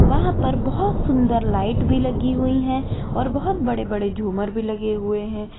वहां पर बहोत सुंदर लाइट भी लगी हुई है और बहोत बड़े बड़े झूमर भी लगे हुए हैं।